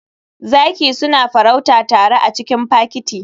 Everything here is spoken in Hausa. Zaki suna farauta tare a cikin fakiti.